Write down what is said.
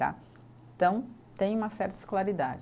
Então tem uma certa escolaridade.